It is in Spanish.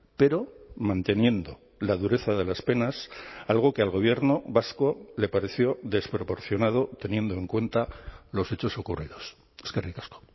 pero manteniendo la dureza de las penas algo que al gobierno vasco le pareció desproporcionado teniendo en cuenta los hechos ocurridos eskerrik asko